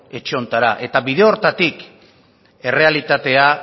etxe honetara eta bide horretatik errealitatea